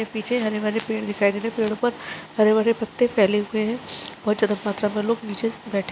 पीछे हरे-भरे पेड़ दिखाई दे रहे है पेड़ो पर हरे-भरे पत्ते फैले हुए है बहोत ज्यादा मात्र में लोग निचे से बठे--